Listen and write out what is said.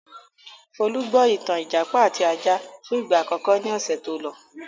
Folú gbọ́ ìtàn 'Ìjàpá àti Ajá' fún ìgbà àkọ́kọ́ ní ọ̀sẹ̀ tó lọ.